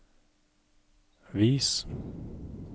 vis